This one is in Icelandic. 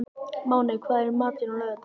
Máney, hvað er í matinn á laugardaginn?